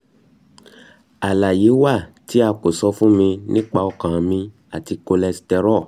alaye wa ti a ko sọ fun mi nipa ọkan mi ati cholesterol